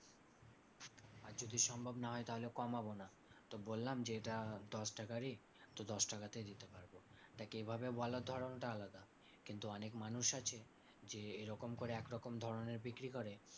আর যদি সম্ভব না হয় তাহলে কমাবো না। তো বললাম যে এটা দশটাকারই তো তখন দশটাকাতেই দিতে পারবো। দেখ এভাবে বলার ধরণটা আলাদা কিন্তু অনেক মানুষ আছে যে এরকম করে একরকম ধরণের বিক্রি করে।